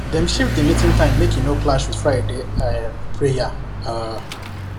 dem shift the meeting time make e no clash with friday um prayer um